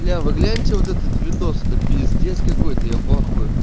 бля вы гляньте вот этот видос это пиздец какой-то я в ахуе